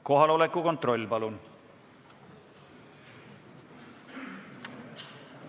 Kohaloleku kontroll, palun!